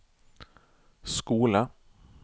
skole